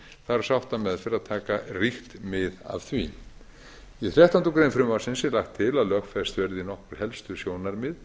þarf sáttameðferð að taka ríkt mið af því í þrettándu greinar frumvarpsins er lagt til að lögfest verði nokkur helstu sjónarmið